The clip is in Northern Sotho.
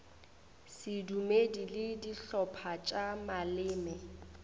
sedumedi le dihlopha tša maleme